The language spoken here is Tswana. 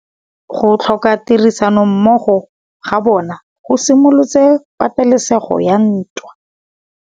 Go tlhoka tirsanommogo ga bone go simolotse patêlêsêgô ya ntwa.